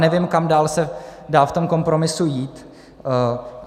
Nevím, kam dál se dá v tom kompromisu jít.